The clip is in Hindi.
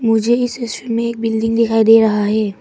मुझे इस दृश्य में एक बिल्डिंग दिखाई दे रहा है।